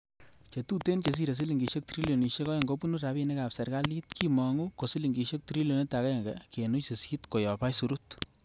Chetuten chesire silingisiek trilionisiek Oeng kobunu rabinikab serkalit, Kimongu ko silingisiek trilionit agenge kenuch sisit koyob aisurut.